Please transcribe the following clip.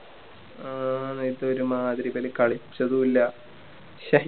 ആ നേരത്ത് ഒരുമാതിരി ഇവര് കളിച്ചതും ഇല്ല ശ്ശേ